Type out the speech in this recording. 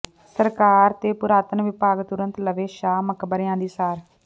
ਸਰਕਾਰ ਤੇ ਪੁਰਾਤਨ ਵਿਭਾਗ ਤੁਰੰਤ ਲਵੇ ਸ਼ਾਹੀ ਮਕਬਰਿਆਂ ਦੀ ਸਾਰ